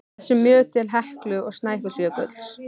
þessum mjög til Heklu og Snæfellsjökuls.